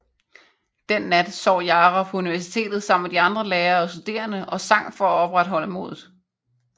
Den nat sov Jara på universitet sammen med de andre lærere og studerende og sang for at opretholde modet